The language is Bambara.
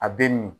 A bɛ min